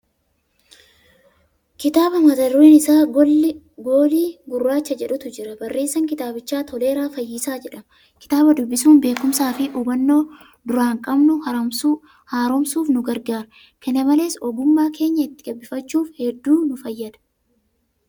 Kitaaba mata dureen isaa 'Goolii Gurraacha' jedhutu jira. Barreessaan kitaabichaa Toleeraa fayyisaa jedhama. Kitaaba dubbisuun beekumsaa fi hubannoo duraan qabnu haaromsuuf nu gargaara. Kana malees, ogummaa keenya itti gabbifachuuf hedduu ni fayyada.